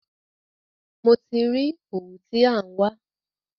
Mo ti rí òwú tí à ń wá.